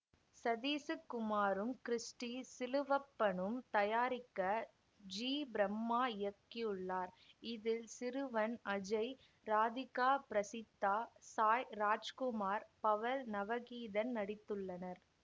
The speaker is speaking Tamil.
சதீசுக் குமாரும் கிறிஸ்டி சிலுவப்பனும் தயாரிக்க ஜிபிரம்மா இயக்கியுள்ளார் இதில் சிறுவன் அஜய் இராதிகா பிரசித்தா சாய் இராஜ்குமார் பவல் நவகீதன் நடித்துள்ளனர்